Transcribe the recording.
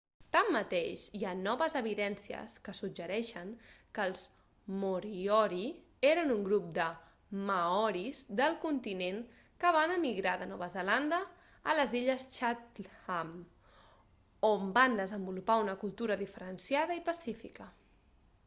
tanmateix hi ha noves evidències que suggereixen que els moriori eren un grup de maoris del continent que van emigrar de nova zelanda a les illes chatham on van desenvolupar una cultura diferenciada i pacífica